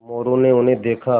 मोरू ने उन्हें देखा